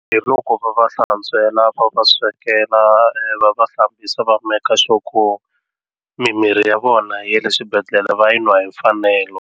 Hi loko va va hlantswela va va swekela va va hlambisa va make sure ku mimirhi ya vona ya le swibedhlele va yi nwa hi mfanelo.